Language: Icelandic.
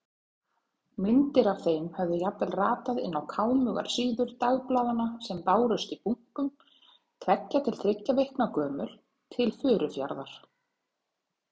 Myndir af þeim höfðu jafnvel ratað inn á kámugar síður dagblaðanna sem bárust í bunkum, tveggja til þriggja vikna gömul, til Furufjarðar.